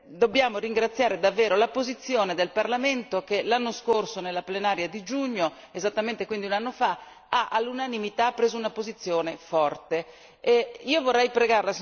Allora, noi dobbiamo ringraziare davvero la posizione del Parlamento che l'anno scorso nella plenaria di giugno, esattamente quindi un anno fa, ha all'unanimità preso una posizione forte.